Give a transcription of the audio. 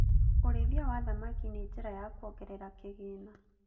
Ũrĩithia wa thamaki nĩ njĩra ya kuongerera kĩgĩna